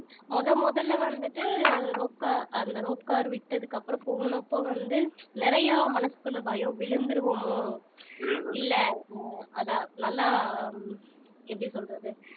முதல் முதல்ல வந்துட்டு rope car அந்த rope car விட்டதுக்கு அப்புறம் போனப்ப வந்து நிறைய மனசுக்குள்ள பயம் விழுந்துருவோமோ இல்லை ஹம் அதை நல்லா எப்படி சொல்றது